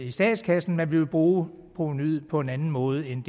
i statskassen men vi vil bruge provenuet på en anden måde end